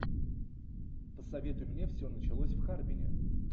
посоветуй мне все началось в харбине